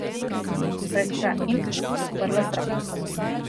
Pred kratkim sva se sprla z bratom.